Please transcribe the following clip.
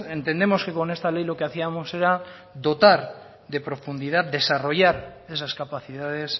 entendemos que con esta ley lo que hacíamos era dotar de profundidad desarrollar esas capacidades